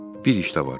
Bir iş də var.